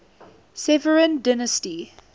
severan dynasty